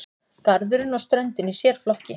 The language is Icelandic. Garðurinn og ströndin í sérflokki.